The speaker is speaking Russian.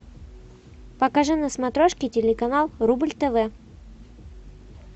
покажи на смотрешке телеканал рубль тв